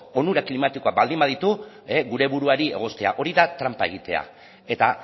onura klimatikoa baldin baditu gure buruari egoztea hori da tranpa egitea eta